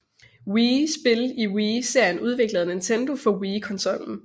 Wii spil i Wii serien udviklet af Nintendo for Wii konsollen